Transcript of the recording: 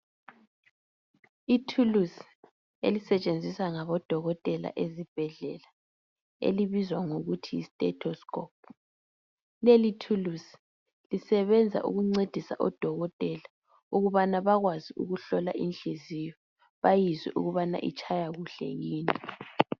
Ithuluzi elisetshenziswa ngabodokotela ezibhedlela, elibizwa ngokuthi yi stato scope. Leli thuluzi lisebenza ukuncedisa odokotela ukubana bakwazi ukuhlola inhliziyo bayizwe ukubana itshaya kuhle yini.